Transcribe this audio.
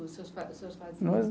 Com seus